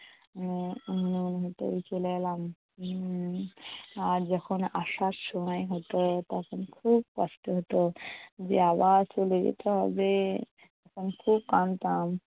উম মনে হতো এই চলে এলাম উম আর যখন আসার সময় হতো তখন খুব কষ্ট হতো যে আবার চলে যেতে হবে। তখন খুব কাঁদতাম।